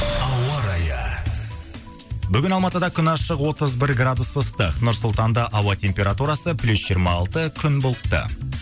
ауа райы бүгін алматыда күн ашық отыз бір градус ыстық нұр сұлтанда ауа температурасы плюс жиырма алты күн бұлтты